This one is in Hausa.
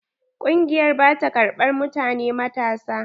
Ƙungiyar ba ta ƙarban mutane matasa.